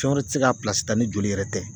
Fɛn wɛrɛ ti se ka ta ni joli yɛrɛ tɛ.